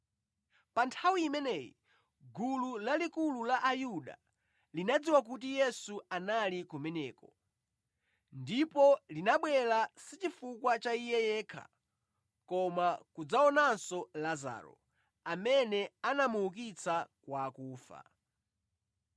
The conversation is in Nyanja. Pa nthawi imeneyi gulu lalikulu la Ayuda linadziwa kuti Yesu anali kumeneko, ndipo linabwera, sichifukwa cha Iye yekha koma kudzaonanso Lazaro, amene anamuukitsa kwa akufa.